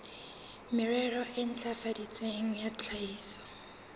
merero e ntlafaditsweng ya tlhahiso